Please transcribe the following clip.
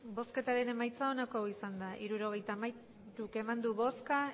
hirurogeita hamairu eman dugu bozka